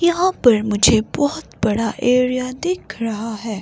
यहां पर मुझे बहुत बड़ा एरिया दिख रहा है।